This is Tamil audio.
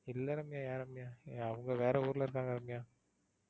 இல்ல ரம்யா ஏன் ரம்யா. அவங்க வேற ஊர்ல இருக்காங்க ரம்யா.